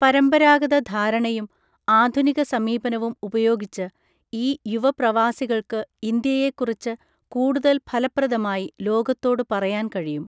പരമ്പരാഗത ധാരണയും ആധുനിക സമീപനവും ഉപയോഗിച്ച്, ഈ യുവപ്രവാസികൾക്ക് ഇന്ത്യയെക്കുറിച്ചു കൂടുതൽ ഫലപ്രദമായി ലോകത്തോടു പറയാൻ കഴിയും.